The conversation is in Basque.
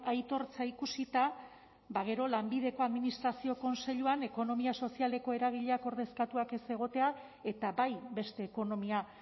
aitortza ikusita ba gero lanbideko administrazio kontseiluan ekonomia sozialeko eragileak ordezkatuak ez egotea eta bai beste ekonomia